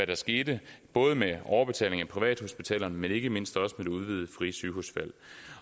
der skete både med overbetaling til privathospitalerne men ikke mindst også med det udvidede frie sygehusvalg